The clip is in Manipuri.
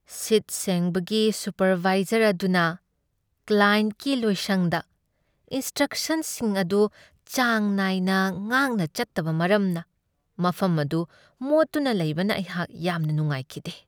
ꯁꯤꯠ ꯁꯦꯡꯕꯒꯤ ꯁꯨꯄꯔꯕꯥꯏꯖꯔ ꯑꯗꯨꯅ ꯀ꯭ꯂꯥꯌꯦꯟꯠꯀꯤ ꯂꯣꯏꯁꯪꯗ ꯏꯟꯁ꯭ꯇ꯭ꯔꯛꯁꯟꯁꯤꯡ ꯑꯗꯨ ꯆꯥꯡ ꯅꯥꯏꯅ ꯉꯥꯛꯅ ꯆꯠꯇꯕ ꯃꯔꯝꯅ ꯃꯐꯝ ꯑꯗꯨ ꯃꯣꯠꯇꯨꯅ ꯂꯩꯕꯅ ꯑꯩꯍꯥꯛ ꯌꯥꯝꯅ ꯅꯨꯡꯉꯥꯏꯈꯤꯗꯦ꯫